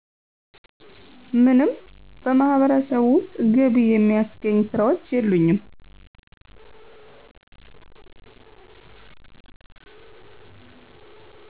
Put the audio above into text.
ምንም በማህበረሰቡ ውስጥ ገቢ የሚያስገኝ ስራዎች የሉኝም